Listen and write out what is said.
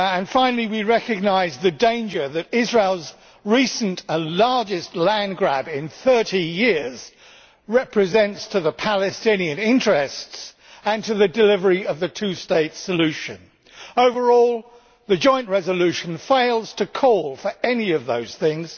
Finally, we recognise the danger that Israel's recent and largest land grab in 30 years represents to the Palestinian interests and to the delivery of the two state solution. Overall, the joint resolution fails to call for any of those things.